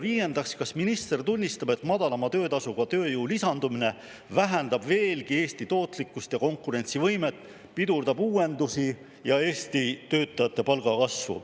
Viiendaks, kas minister tunnistab, et madalama töötasuga tööjõu lisandumine vähendab veelgi Eesti tootlikkust ja konkurentsivõimet, pidurdab uuendusi ja Eesti töötajate palgakasvu?